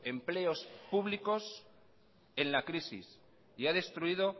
empleos públicos en la crisis y ha destruido